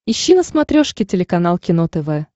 ищи на смотрешке телеканал кино тв